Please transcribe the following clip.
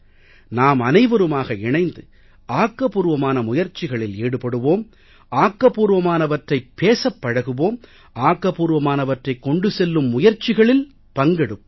நாமனைவருமாக இணைந்து ஆக்கபூர்வமான முயற்சிகளில் ஈடுபடுவோம் ஆக்கபூர்வமானவற்றைப் பேசப் பழகுவோம் ஆக்கப்பூர்வமானவற்றைக் கொண்டு செல்லும் முயற்சிகளில் பங்கெடுப்போம்